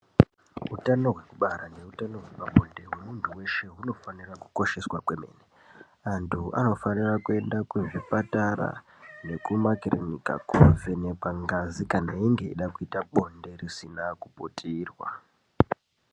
Hutano yekubara nehutano hwepabonde hwemuntu weshe hunofanira kukosheswa kwemene antu anofanira kuenda kuzvipatara nekumakirinika kovhenekwa ngazi kana inge eida kuita bonde risina kuputirwa.